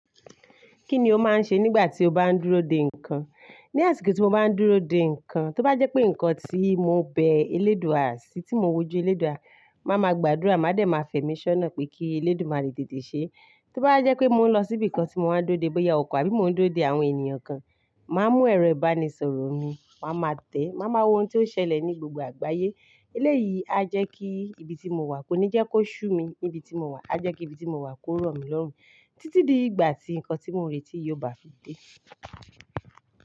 Kí ni o máa ń ṣe nígbà tí o bá ń dúró de nǹkan? Ni àsìkò tí mo bá ń dúró de nǹkan, tó bá jẹ́ pé nǹkan tí mo bẹ eléèdúà sí, tí mo wójú eléèdúà, màá ma gbàdúrà, màá dẹ̀ ma fẹ̀mí ṣọ́nà pé kí eléèdúà rí tètè ṣe. Tó bá jẹ́ pé mò ń lọ síbi kan tí mo máa ń dúró de, bóyá ọkọ̀ àbí mò ń dúró de àwọn ènìyàn kan, màá mú ẹ̀rọ ìbánisọ̀rọ̀ mi, màá ma tẹ̀, màá ma wọ ohun tí ó n ṣẹlẹ̀ ní gbogbo àgbáyé. Eléyìí á jẹ́ kí ibi tí mo wà kó ní jẹ́ kó ṣú mi níbi tí mo wà, á jẹ́ kí ibi tí mo wà kó rọ̀ mí lọ́rùn títí di ìgbà tí nǹkan tí mo ń retí yóò bá fi dé.